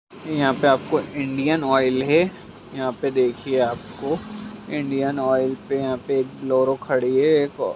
यहा पे हम को इंडियनऑयल है यहाँ पे देखिये आपको इंडियनऑयल पे यहाँ पे एक बोलरो खड़ी है--